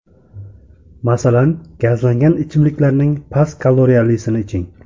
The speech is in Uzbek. Masalan, gazlangan ichimliklarning past kaloriyalisini iching.